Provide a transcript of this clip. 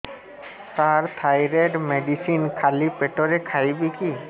ସାର thyroid medicine ଖାଲି ପେଟରେ ଖାଇବି କି